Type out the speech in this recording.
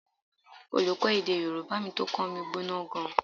Olùkọ́ èdè Yorùbá tó kọ́ mi gbóná gan-an